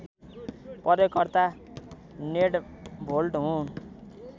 प्रयोगकर्ता नेडर्भोल्ड हुँ